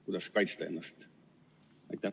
Kuidas kaitsta ennast?